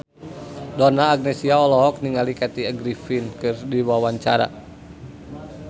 Donna Agnesia olohok ningali Kathy Griffin keur diwawancara